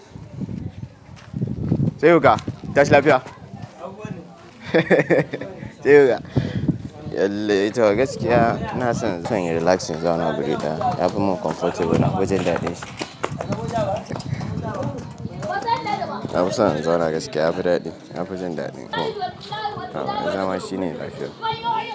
Sai oga, tashin lafiya? Sai oga. Yallai to gaskiya ina san zan yi relaxing zauna gareka. Kafin mu comfortable nafi jin daɗin shi. Na fi son in zauna gaskiya, yafi daɗi. Nafi jin daɗi. Haba zamashi ne lafiya.